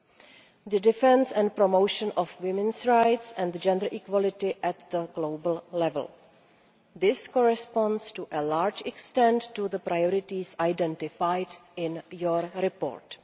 and the defence and promotion of women's rights and gender equality at global level. These correspond to a large extent to the priorities identified in your report.